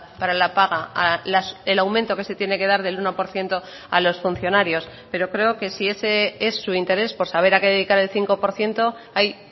para la paga el aumento que se tiene que dar del uno por ciento a los funcionarios pero creo que si ese es su interés por saber a qué dedicar el cinco por ciento hay